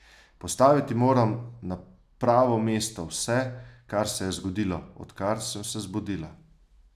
Postaviti moram na pravo mesto vse, kar se je zgodilo, odkar sem se zbudila.